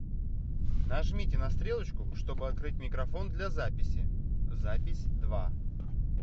нажмите на стрелочку чтобы открыть микрофон для записи запись два